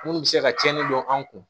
Munnu bɛ se ka cɛnni dɔn an kun